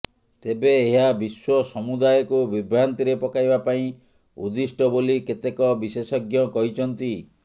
ତେବେ ଏହା ବିଶ୍ୱସମୁଦାୟକୁ ବିଭ୍ରାନ୍ତିରେ ପକାଇବା ପାଇଁ ଉଦ୍ଦିଷ୍ଟ ବୋଲି କେତେକ ବିଶେଷଜ୍ଞ କହିଛନ୍ତି